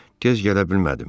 Tez gələ bilmədim.